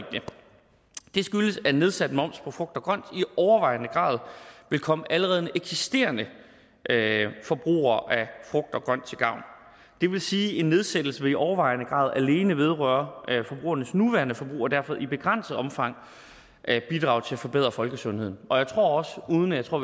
det skyldes at nedsat moms på frugt og grønt i overvejende grad vil komme allerede eksisterende forbrugere af frugt og grønt til gavn det vil sige at en nedsættelse i overvejende grad alene vil vedrøre forbrugernes nuværende forbrug og derfor i begrænset omfang bidrage til at forbedre folkesundheden og jeg tror også uden at jeg tror